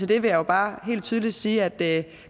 det vil jeg bare helt tydeligt sige at